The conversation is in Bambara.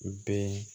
U bɛɛ